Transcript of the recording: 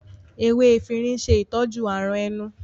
Ewé efirin n ṣe itọju àrùn ẹnu